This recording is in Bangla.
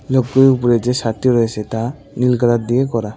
লোকগুলির উপরে যে ছাদটি রয়েছে তা নীল কালার দিয়ে করা।